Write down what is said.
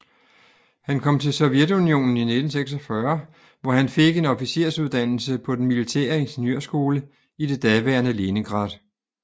Han kom til Sovjetunionen i 1946 hvor han fik en officersuddannelse på den militære ingeniørskole i det daværende Leningrad